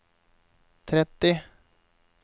tretti